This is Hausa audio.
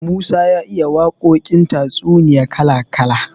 Musa ya iya waƙoƙin tatsuniya kala kala.